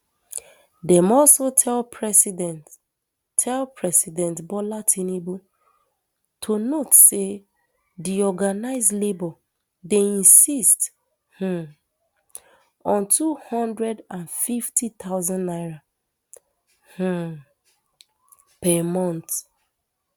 dem also tell president tell president bola tinubu to note say di organised labour dey insist um on two hundred and fifty thousand naira um per month